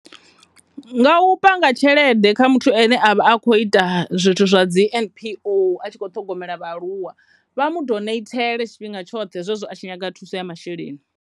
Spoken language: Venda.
Nga u panga tshelede kha muthu ane a vha a kho ita zwithu zwa dzi N_P_O a tshi kho ṱhogomela vhaaluwa vha mu doneithele tshifhinga tshoṱhe zwezwo a tshi nyaga thuso ya masheleni.